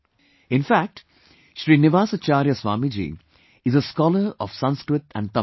In fact, Srinivasacharya Swamiji is a scholar of Sanskrit and Tamil